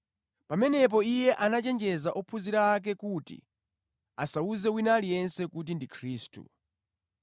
Pamenepo Iye anachenjeza ophunzira ake kuti asawuze wina aliyense kuti ndi Khristu.